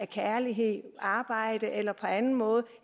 kærlighed arbejde eller på anden måde